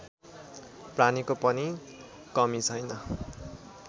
प्राणीको पनि कमी छैन